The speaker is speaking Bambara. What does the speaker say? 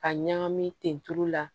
Ka ɲagami ten tulu la